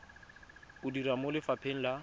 o dira mo lefapheng la